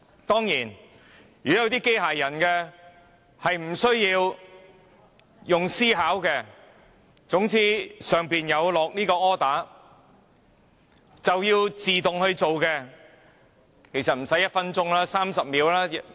當然，如果這些機械人無須思考，接到 order 便會自動表決，其實無需1分鐘 ，30 秒便足夠。